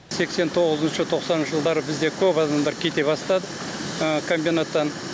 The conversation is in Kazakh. сексен тоғызыншы тоқсаныншы жылдары бізде көп адамдар кете бастады комбинаттан